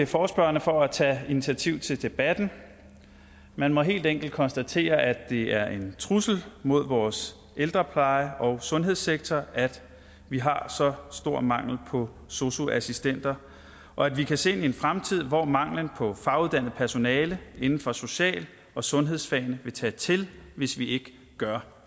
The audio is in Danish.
forespørgerne for at tage initiativ til debatten man må helt enkelt konstatere at det er en trussel mod vores ældrepleje og sundhedssektor at vi har så stor mangel på sosu assistenter og at vi kan se en fremtid hvor manglen på faguddannet personale inden for social og sundhedsfagene vil tage til hvis vi ikke gør